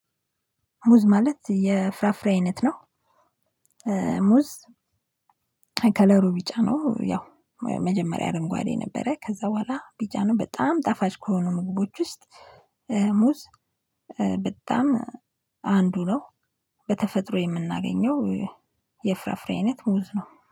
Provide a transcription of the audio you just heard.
ሙዝ ማለት የፍራፍሬ አይነት ነው። ሙዝ ከከለሩ ቢጫ ነው። ያው መጀመሪያ አረንጓዴ ነበረ። ከዛ በኋላ ቢጫ ነው። በጣም ጣፋጭ ከሆኑ ምግቦች ውስጥ ሙዝ በጣም አንዱ ነው። በተፈጥሮ የምናገኘው የፍራፍሬ አይነት ሙዝ ነው።